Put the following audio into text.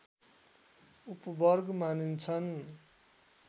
उपवर्ग मानिन्छन्